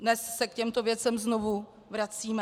Dnes se k těmto věcem znovu vracíme.